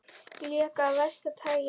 Leki af versta tagi